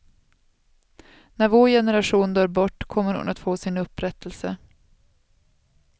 När vår generation dör bort kommer hon att få sin upprättelse.